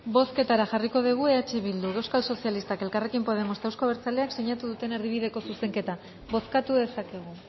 bozketara jarriko dugu eh bildu euskal sozialistak elkarrekin podemos eta euzko abertzaleak sinatu duten erdibideko zuzenketa bozkatu dezakegu